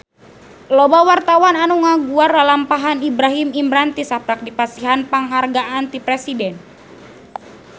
Loba wartawan anu ngaguar lalampahan Ibrahim Imran tisaprak dipasihan panghargaan ti Presiden